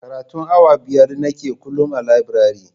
Karatun awa biyar nake kullum a labirare